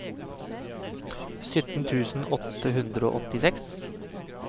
sytten tusen åtte hundre og åttiseks